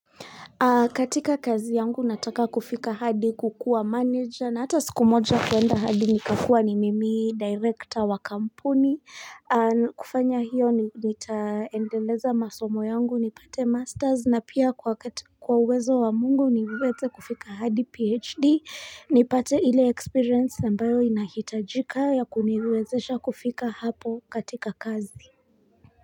Katika kazi yangu nataka kufika hadi kukuwa manager na hata siku moja kuenda hadi nikakua ni mimi director wa kampuni. Kufanya hiyo nitaendeleza masomo yangu nipate masters na pia kwa wakati kwa uwezo wa mungu niweze kufika hadi phd nipate ile experience ambayo inahitajika ya kuniwezesha kufika hapo katika kazi.